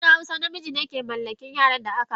A kasar hausawa, namiji ne ke mallaki yaran da aka haifa.